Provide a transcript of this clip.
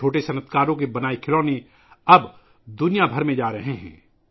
ان چھوٹے کاروباریوں کے بنائے ہوئے کھلونے اب پوری دنیا میں جا رہے ہیں